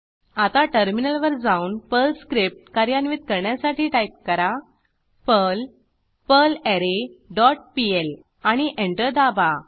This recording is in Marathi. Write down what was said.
आता टर्मिनलवर जाऊन पर्ल स्क्रिप्ट कार्यान्वित करण्यासाठी टाईप करा पर्ल पर्लरे डॉट पीएल आणि एंटर दाबा